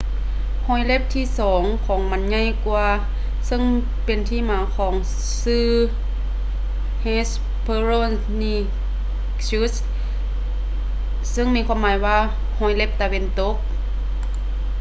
ຮອຍເລັບທີ່ສອງຂອງມັນໃຫຍ່ກວ່າ ເຊິ່ງເປັນທີ່ມາຂອງຊື່ hesperonychus ເຊິ່ງມີຄວາມໝາຍວ່າ ຮອຍເລັບຕາເວັນຕົກ